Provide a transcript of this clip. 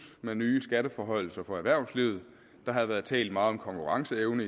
med nye skatteforhøjelser for erhvervslivet der havde været talt meget om konkurrenceevne